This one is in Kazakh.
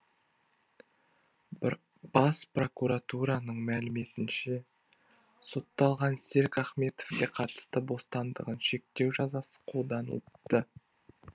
бас прокуратураның мәліметінше сотталған серік ахметовке қатысты бостандығын шектеу жазасы қолданылыпты